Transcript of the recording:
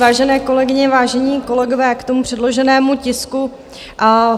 Vážené kolegyně, vážení kolegové, k tomu předloženému tisku.